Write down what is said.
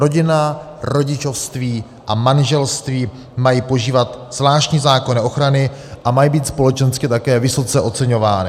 Rodina, rodičovství a manželství mají požívat zvláštní zákonné ochrany a mají být společensky také vysoce oceňovány.